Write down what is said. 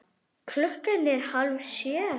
Klukkan er hálf sjö.